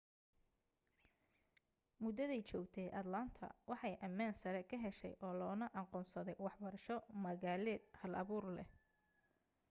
muddaday joogtay atlanta waxay ammaan sare ka heshay oo loona aqoonsaday waxbarasho magaaleed hal-abuur leh